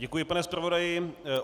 Děkuji, pane zpravodaji.